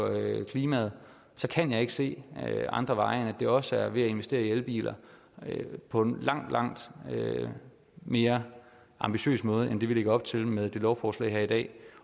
af klimaet så kan jeg ikke se andre veje end at det også er ved at investere i elbiler på en langt langt mere ambitiøs måde end vi lægger op til med det lovforslag her i dag